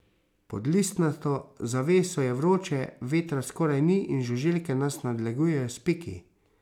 Pod listnato zaveso je vroče, vetra skoraj ni in žuželke nas nadlegujejo s piki.